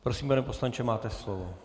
Prosím, pane poslanče, máte slovo.